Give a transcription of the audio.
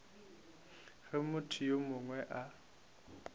ge motho yo mongwe a